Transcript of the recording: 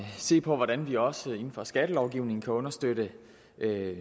se på hvordan vi også inden for skattelovgivningen kan understøtte